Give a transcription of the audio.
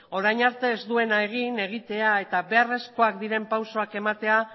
orain arte ez duena egin egitea eta beharrezkoak diren pausoak ematea